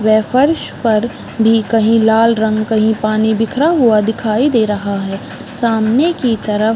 वह फर्श पर कही लाल रंग कही पानी बीखरा हुआ दिखाई दे रहा है सामने की तरफ--